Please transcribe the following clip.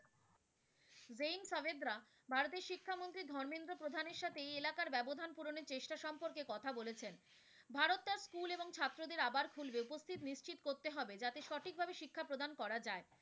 জৈন সাবেদরা ভারতের শিক্ষামন্ত্রী ধর্মেন্দ্র প্রধানের সাথে এই এলাকার ব্যবধান পূরণের চেষ্টা সম্পর্কে কথা বলেছেন। ভারত তার school এবং ছাত্রদের আবার খুলবে, উপস্থিত নিশ্চিত করতে হবে, যাতে সঠিকভাবে শিক্ষা প্রদান করা যায়।